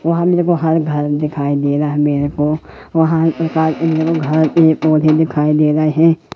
वहां मेरे को हर घर दिखाई दे रहा है मेरे को वहां पौधे दिखाई दे रहे हैं।